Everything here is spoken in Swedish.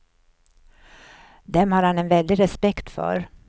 Dem har han en väldig respekt för.